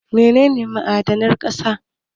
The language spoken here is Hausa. Mene ne ma'adanan ƙasa?